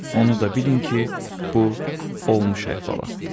Onu da bilin ki, bu olmuş əhvalatdır.